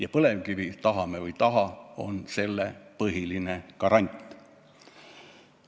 Ja põlevkivi, tahame või ei taha, on selle põhiline garant.